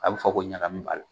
A bɛ fɔ ko ɲagami b'a la.